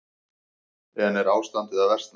En er ástandið að versna?